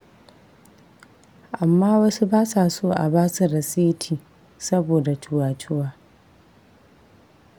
Amma wasu ba sa so a ba su rasiti saboda cuwa-cuwa.